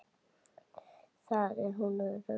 Þar er hún örugg.